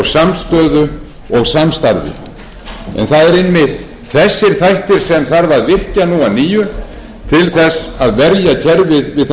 samstöðu og samstarfi en það eru einmitt þessir þættir sem þarf að virkja nú að nýju til þess að verja kerfið við þær